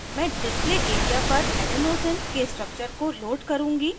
मैं display area पर adenosine adenosine के structure को load करुँगी